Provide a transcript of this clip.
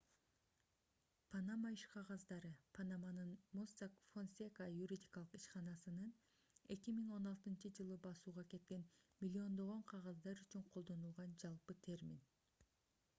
панама иш кагаздары - панаманын mossack fonseca юридикалык ишканасынын 2016-ж басууга кеткен миллиондогон кагаздар үчүн колдонулган жалпы термин